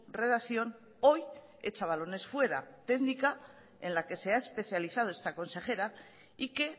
redacción hoy echa balones fuera técnica en la que se ha especializado esta consejera y que